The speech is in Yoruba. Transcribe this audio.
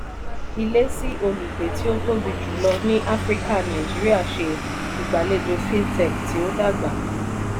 "ilé sí olùgbé tí ó tóbi jùlọ ni áfríkà nàìjíríà ṣe ìgbàlejò fintech tí o dàgbà"